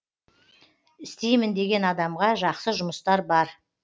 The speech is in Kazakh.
істеймін деген адамға жақсы жұмыстар бар